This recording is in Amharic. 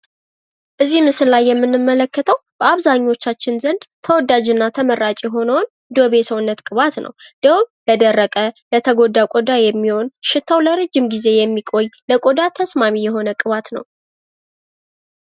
እዚህ ምስል ላይ የምንመለከተው በአብዛኞቻችን ዘንድ ተመራጭ የሆነውን ዶቭ የሰዉነት ቅባት ነው። ዶቭ ለደረቀ፣ ለተጎዳ ሰዉነት የሚሆን ሽታዉ ለረጅም ጊዜ የሚቆይ የሰዉነት ቅባት ነው።